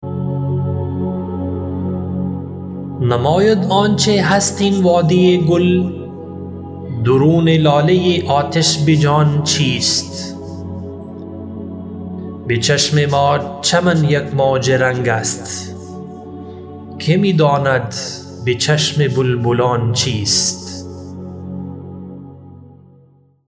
نماید آنچه هست این وادی گل درون لاله آتش بجان چیست بچشم ما چمن یک موج رنگ است که می داند به چشم بلبلان چیست